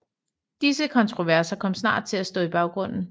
Disse kontroverser kom snart til at stå i baggrunden